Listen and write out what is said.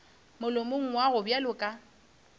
molomong wa gago bjalo ka